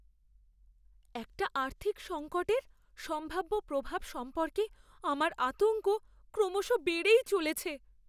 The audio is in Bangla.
একটা আর্থিক সঙ্কটের সম্ভাব্য প্রভাব সম্পর্কে আমার আতঙ্ক ক্রমশ বেড়েই চলেছে।